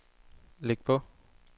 læg på